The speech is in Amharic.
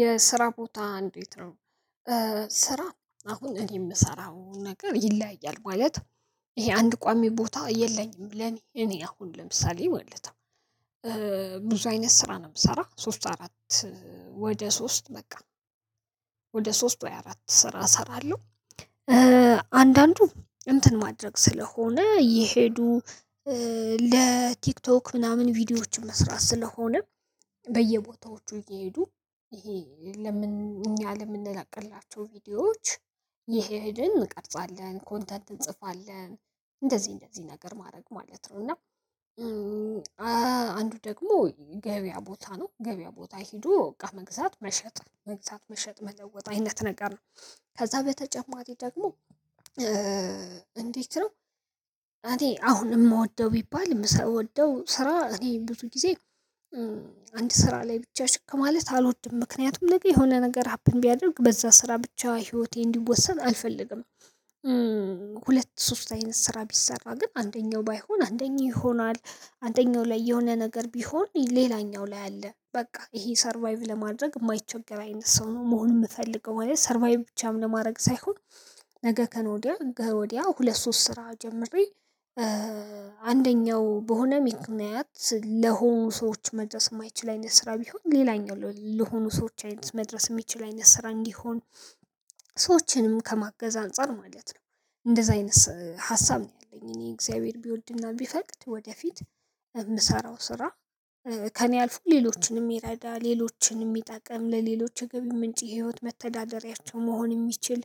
የስራ ቦታ እንዴት ነው? በስራ አሁን እኔ እምሰራው ነገር ይለያያል ማለት የአንድ ቋሚ ቦታ የለኝም እኔ አሁን ለምሳሌ ማለት ነው። ብዙ አይነት ስራ ነው የምሰራው ሶስት አራት ወደ ሶስት በቃ ወደ ሶስት ወይ አራት ስራ እሰራለሁ። አንዳንዱ እንትን ማድረግ ስለሆነ ይሄዱ ለቲክቶክ ምናምን ቪዲዮዎችን መስራት ስለሆነ። በየቦታዎቹ እየሄዱ ይሄ ለምን እኛ ለምንላቀላቸው ቪዲዮዎች ይሄድን እንቀርፃለን ኮንተንት እንጽፋለን እንደዚህ እንደዚህ ነገር ማድረግ ማለት ነው። እና አንዱ ደግሞ ገበያ ቦታ ነው ገበያ ቦታ ሄዶ እቃ መግዛት መሸጥ መግዛት መሸጥ መለወጥ አይነት ነገር ነው። ከዛ በተጨማሪ ደግሞ እንዴት ነው? አንተ አሁን እምወደው ቢባል የምሰወደው ስራ እኔ ብዙ ጊዜ አንድ ስራ ላይ ብቻ ችክ ማለት አልወድም ምክንያቱም ነገ የሆነ ነገር ሀፕን ቢያደርግ በዛ ስራ ብቻ ህይወቴ እንዲወሰን አልፈልግም። ሁለት ሶስት አይነት ስራ ቢሰራ ግን አንደኛው ባይሆን አንደኛው ይሆናል አንደኛው ላይ የሆነ ነገር ቢሆን ሌላኛው ላይ አለ በቃ ይሄ ሰርቫይቭ ለማድረግ እማይቸገር አይነት ሰው ነው መሆን እምፈልገው ማለት ሰርቫይቭ ብቻም ለማድረግ ሳይሆን ነገ ከነገ ወዲያ ሁለት ሶስት ስራ ጀመሬ። አንደኛው በሆነ ምክንያት ለሆኑ ሰዎች መድረስ እማይችል አይነት ስራ ቢሆን ሌላኛው ለሆኑ ሰዎች አይነት መድረስ እሚችል አይነት ስራ እንዲሆን ሰዎችንም ከማገዝ አንፃር ማለት ነው። እንደዛ አይነት ሀሳብ ነው ያለኝ እኔ እግዚአብሔር ቢወድና ቢፈቅድ ወደፊት እምሰራው ስራ ከኔ አልፎ ለሎቺን የሚረዳ ሌሎቺን እሚጠቅም ለሌሎች የገቢ ምንጭ የህይወት መተዳደሪያቸው መሆን የሚችል